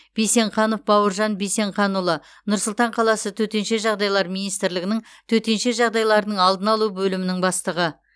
бейсенқанов бауыржан бейсенқанұлы нұр сұлтан қаласы төтенше жағдайлар министрлігінің төтенше жағдайлардың алдын алу бөлімінің бастығы